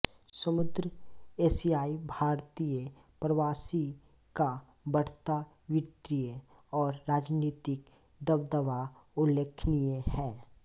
समृद्ध एशियाई भारतीय प्रवासी का बढ़ता वित्तीय और राजनीतिक दबदबा उल्लेखनीय है